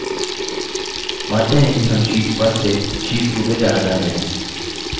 मानते हैं कि हम sheet 1 से sheet 2 में जाना चाहते हैं